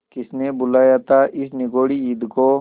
किसने बुलाया था इस निगौड़ी ईद को